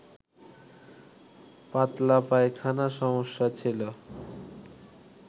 পাতলা পায়খানা সমস্যা ছিল